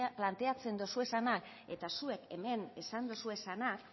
planteatzen dituzuenak eta zuek hemen esan dituzuenak